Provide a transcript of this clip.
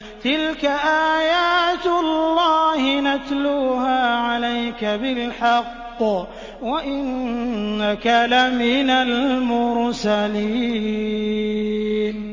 تِلْكَ آيَاتُ اللَّهِ نَتْلُوهَا عَلَيْكَ بِالْحَقِّ ۚ وَإِنَّكَ لَمِنَ الْمُرْسَلِينَ